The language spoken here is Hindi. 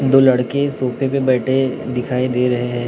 दो लड़के सोफे पे बैठे दिखाई दे रहे हैं।